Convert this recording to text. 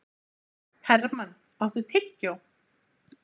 Hermann, áttu tyggjó?